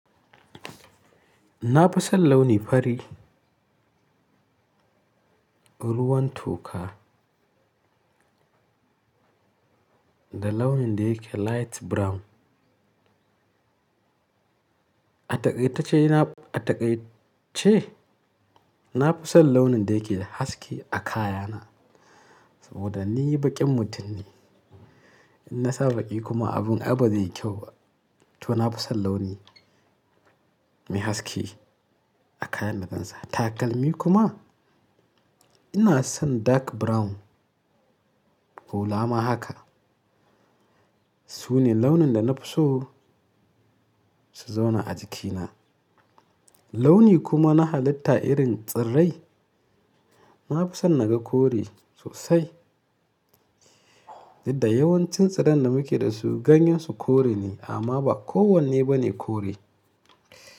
Na fi son launi fari, ruwan toka da launin da yake light brown. A takai tace na, a takai ce na fi son launin da yake da haske a kayana saboda ni baƙin mutum ne. In na sa baƙi kuma abin ai ba zai yi kyau ba. To na fi son launi mai haske a kayan da zan sa takalmi kuma ina son dark brown hula ma haka. Su ne launin da na fi so su zauna a jikina. Launi kuma na halitta irin tsirai, na fi son naga kore sosai. Da yawancin tsiran da muke da su ganyen su kore ne amma ba kowanne ba ne kore.